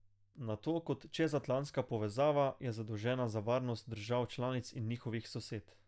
Nato kot čezatlantska povezava je zadolžena za varnost držav članic in njihovih sosed.